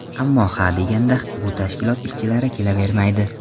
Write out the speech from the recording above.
Ammo ha deganda bu tashkilot ishchilari kelavermaydi.